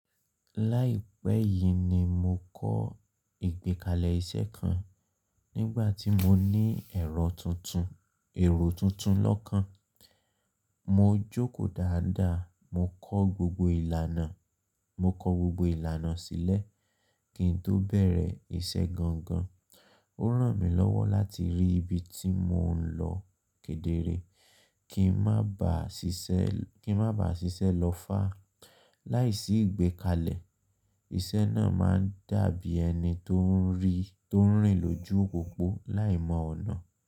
Láìpẹ́ yìí ni mo kọ́ ìgbékalẹ̀ iṣẹ́ kan. Nígbà tí mo ní ẹ̀rọ tuntun, ẹ̀rọ tuntun lọ́kàn, mo jókòó dáadáa. Mo kọ́ gbogbo ìlànà, mo kọ gbogbo ìlànà sílẹ̀ kí n tó bẹ̀rẹ̀ iṣẹ́ gangan. Ó ràn mí lọ́wọ́ láti rí ibi tí mò ń lọ kedere kí n má ba à ṣiṣẹ́, kí n má ba à ṣiṣẹ́ lọ́fà. Láìsí ìgbékalẹ̀, iṣẹ́ náà máa ń dàbí ẹni tó ń rìí, tó ń rìn lójú pópó láìmọ ọ̀nà.